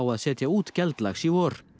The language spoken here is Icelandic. að setja út geldlax í vor